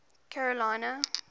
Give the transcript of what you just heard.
carolina